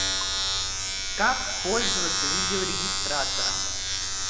как пользоваться видео регистратором